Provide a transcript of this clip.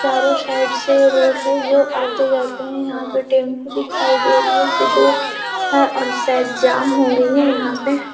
चारो साइड से रोड है जो आते जाते है यहाँ पे टैम्पू दिखाई दे रही हैं जो दो हैं जो सायद जाम हो गई है।